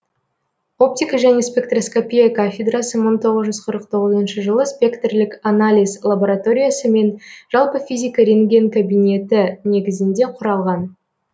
оптика және спектроскопия кафедрасы мың тоғыз жүз қырық тоғызыншы жылы спектрлік анализ лабораториясы мен жалпы физика ренген кабинеті негізінде құралған